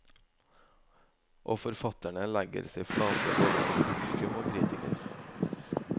Og forfatterne legger seg flate både for publikum og kritikere.